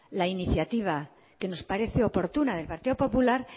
la iniciativa que nos parece oportuna del partido popular